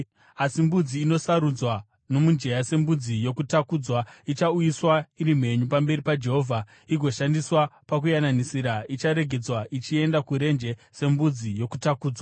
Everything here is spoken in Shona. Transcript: Asi mbudzi inosarudzwa nomujenya sembudzi yokutakudzwa ichauyiswa iri mhenyu pamberi paJehovha igoshandiswa pakuyananisira, icharegedzwa ichienda kurenje sembudzi yokutakudzwa.